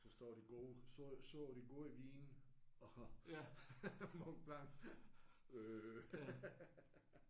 Så står de gode står de gode vine og Mont Blanc øh